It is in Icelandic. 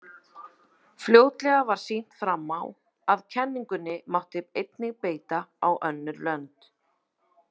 Fljótlega var sýnt fram á að kenningunni mátti einnig beita á önnur lönd.